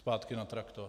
Zpátky na traktor.